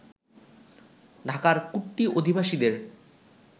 ঢাকার কুট্টি অধিবাসীদের